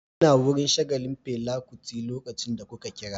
Ina wurin shagalin Fela Kuti lokacin da kuka kira